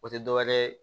O tɛ dɔwɛrɛ ye